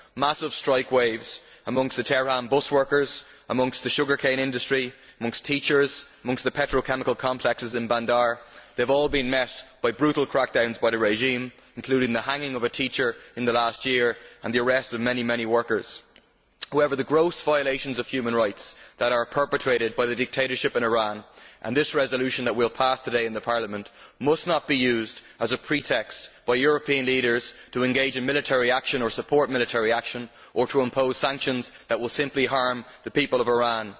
Massive strike waves amongst the Teheran bus workers, in the sugar cane industry, amongst teachers, in the petrochemical complexes in Bandar have all been met by brutal crackdowns by the regime, including the hanging of a teacher in the last year and the arrest of many many workers. However, the gross violations of human rights that are perpetrated by the dictatorship in Iran, and this resolution that we will pass today in Parliament, must not be used as a pretext by European leaders to engage in military action or support military action or to impose sanctions that will simply harm the people of Iran.